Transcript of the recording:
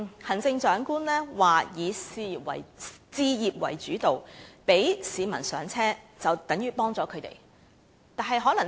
行政長官表示以置業為主導，讓市民"上車"便等於幫助了他們。